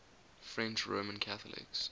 french roman catholics